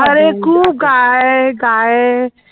आरे खूप गाय गाय